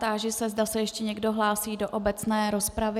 Táži se, zda se ještě někdo hlásí do obecné rozpravy.